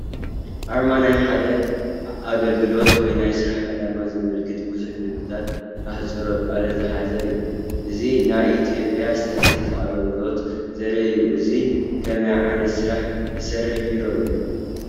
ኣርማ ናይ ሓደ ኣገልግሎት ወይ ናይ ስራሕ ዕላማ ዘመላኽት ብዙሓት ምልክታትን ኣህፅሮተ ቃላትን ዝሓዘ እዩ፡፡ እዚ ናይ ኢ/ያ ስታስቲክስ ኣገለግሎት ዘርኢ እዩ፡፡ እዚ ከመይ ዓይነት ስራሕ ዝሰርሕ ቢሮ እዩ?